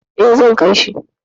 Eh, zan kai shi.